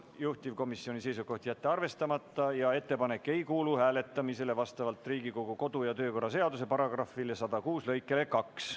Juhtivkomisjoni seisukoht on jätta see arvestamata, ettepanek ei kuulu ka hääletamisele vastavalt Riigikogu kodu- ja töökorra seaduse § 106 lõikele 2.